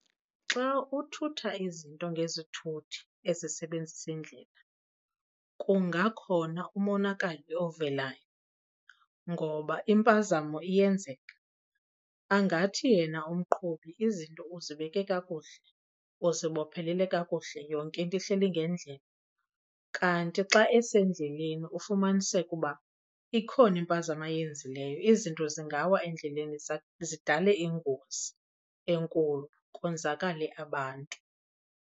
Xa uthutha izinto ngezithuthi ezisebenzisa indlela kungakhona umonakalo ovelayo ngoba impazamo iyenzeka. Angathi yena umqhubi izinto uzibeke kakuhle, uzibophelele kakuhle, yonke into ihleli ngendlela kanti xa esendleleni ufumaniseke uba ikhona impazamo ayenzileyo. Izinto zingawa endleleni zidale ingozi enkulu konzakale abantu.